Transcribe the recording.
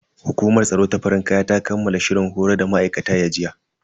Hukumar tsaro ta farin kaya ta kammala shirin horar da ma'aikatan ya jiya.